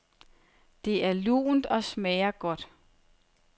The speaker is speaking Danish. Det er lunt og smager godt.